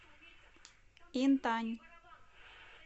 интань